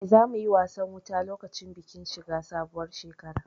Eh, za mu yi wasan wuta lokacin bikin shiga sabuwar shekara